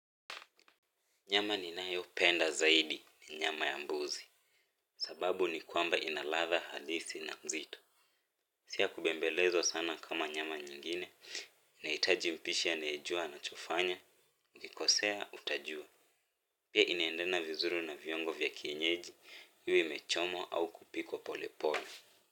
Nyama ninayopenda zaidi ni nyama ya mbuzi. Sababu ni kwamba inaladha halisi na nzito. Siyakubembelezwa sana kama nyama nyingine. Nahitaji mpishi anaejua anachofanya. Ikikosea utajua. Pia inaendena vizuri na viungo vya kienyeji. Iwe imechomwa au kupikwa pole pole.